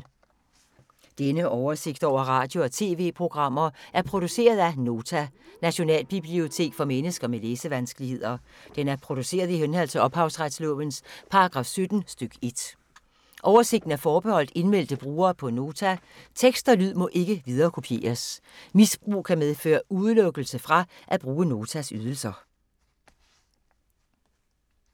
Denne oversigt over radio og TV-programmer er produceret af Nota, Nationalbibliotek for mennesker med læsevanskeligheder. Den er produceret i henhold til ophavsretslovens paragraf 17 stk. 1. Oversigten er forbeholdt indmeldte brugere på Nota. Tekst og lyd må ikke viderekopieres. Misbrug kan medføre udelukkelse fra at bruge Notas ydelser.